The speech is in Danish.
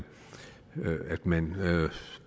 man